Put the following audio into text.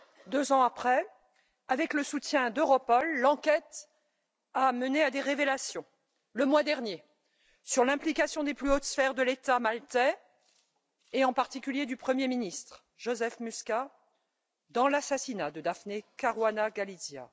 Deux ans après, avec le soutien d'Europol, l'enquête a mené à des révélations, le mois dernier, sur l'implication des plus hautes sphères de l'État maltais, et en particulier du premier ministre, Joseph Muscat, dans l'assassinat de Daphne Caruana Galizia.